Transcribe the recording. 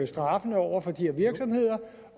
straffen over for de her virksomheder